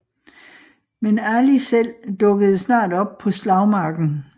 Men Ali selv dukkede snart op på slagmarken